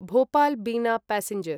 भोपाल् बिना पैसेंजर्